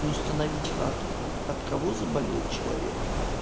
и установить факт от кого заболел человек